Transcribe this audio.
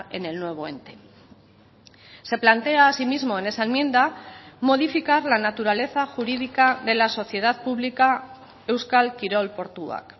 en el nuevo ente se plantea asimismo en esa enmienda modificar la naturaleza jurídica de la sociedad pública euskal kirol portuak